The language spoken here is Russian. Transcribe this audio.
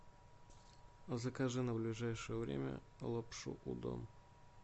закажи на ближайшее время лапшу удон